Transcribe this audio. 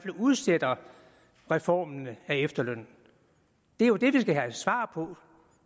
udsætter reformen af efterlønnen det er jo det vi skal have svar på